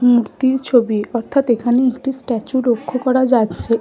মূর্তি ছবি। অর্থাৎ এখানে একটি স্ট্যাচু লক্ষ্য করা যাচ্ছে।